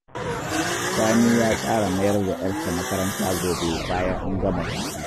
Sani ya tsara mayar da ‘yarsa makaranta gobe bayan an gama hutu